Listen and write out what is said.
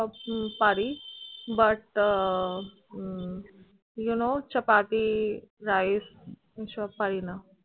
উম পারি but hmm you know chapathi rice এই সব পারি না।